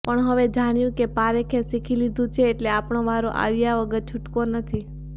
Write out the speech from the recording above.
પણ હવે જાણ્યું કે પારેખે શીખી લીધું છે એટલે આપણો વારો આવ્યા વગર છૂટકો નથી